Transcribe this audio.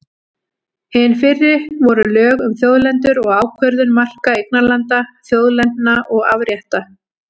Hin fyrri voru lög um þjóðlendur og ákvörðun marka eignarlanda, þjóðlendna og afrétta.